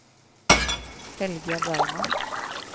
Helga Bergman